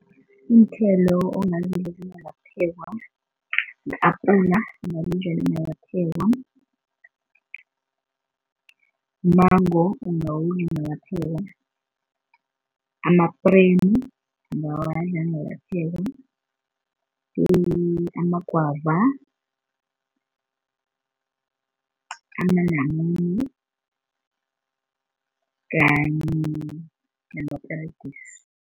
Iinthelo ongazidla zingakaphekwa yi-apula ungalidla ligakaphekwa, mango ungawudla ungakaphekwa, amapremu ungawadla angakaphekwa, amagwava, amanamune kanye namaperegisi.